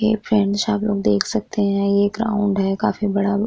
हेय friends आप लोग देख सकते है ये ग्राउंड है काफी बड़ा।